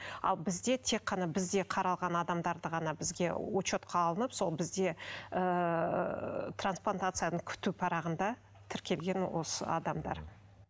ал бізде тек қана бізде қаралған адамдарды ғана бізге учетқа алынып сол бізде ыыы трансплантацияны күту парағында тіркелген осы адамдар